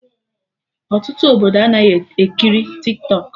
Ọtụtụ Obodo anaghị ekiri Tiktọk